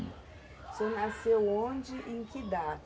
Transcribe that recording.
O senhor nasceu onde e em que da?